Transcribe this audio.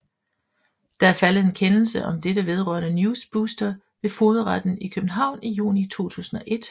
Der er faldet en kendelse om dette vedrørende NewsBooster ved Fogedretten i København i juni 2001